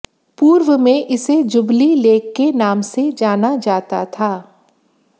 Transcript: पूर्व में इसे जुबली लेक के नाम से जाना जाता था